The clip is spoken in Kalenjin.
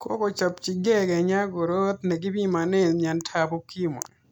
Kochopchikei Kenya korot ne kipimanee miyandap ukimwi.